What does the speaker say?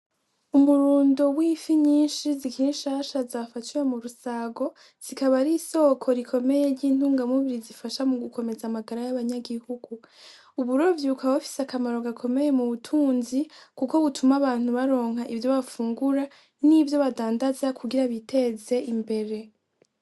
Umurundo w'ifi nyishi zikiri shasha zafatiwe mu rusago zikaba ari isoko rikomeye ryintungamubiri zifasha mu gukomeza amagara y'abanyagihugu, uburovyi bukaba bufise akamaro gakomeye mu butunzi kuko butuma abantu baronka ivyo bafungura n'ivyo badandaza kugira biteze imbere.